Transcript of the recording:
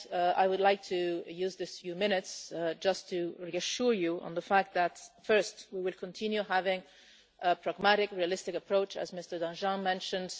I would like to use these few minutes just to reassure you on the fact that, first, we will continue having a pragmatic, realistic approach as Mr Danjean mentioned.